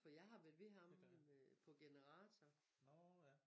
For jeg har været ved ham på generator